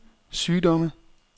sygdomme